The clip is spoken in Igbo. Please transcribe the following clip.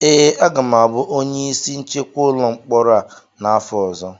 ee, aga m abụ onye isi nchekwa ụlọ mkpọrọ a n’afọ ọzọ